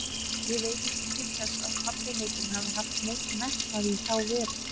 Ég veit ekki til þess að pabbi heitinn hafi haft neinn metnað í þá veru.